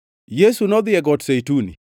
Yesu nodhi e Got Zeituni.